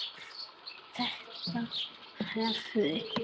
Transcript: Þetta hafi